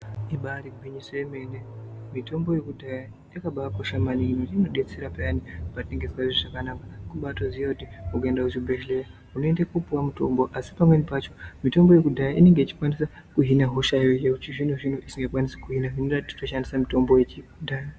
Ibari gwinyiso yemene mitombo yekudhaya yakabakosha maningi inodetsera peya, patisingazwi zvakanaka kubatoziya kuti ukaenda kuchibhedhleya asi pamweni pacho mitombo yekudhaya inenge ichikwanisa kuhina hosha yechizvinozvino isingakwanisi kuhina zviri nani titoshandisa mitombo yekudhaya.